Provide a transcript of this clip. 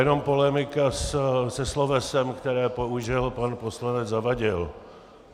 Jenom polemika se slovesem, které použil pan poslanec Zavadil.